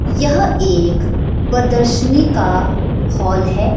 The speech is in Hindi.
यह एक प्रदर्शनी का हॉल है ।